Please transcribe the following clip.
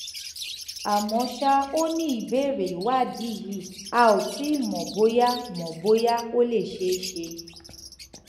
àmọ́ ṣá o ní ìbèrè ìwádìí yìí a ò tíì mò bóyá mò bóyá ó lè ṣeé ṣe